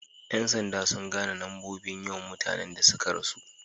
Yan sanda sun gane nombobin yawan mutane da sun ka rasu.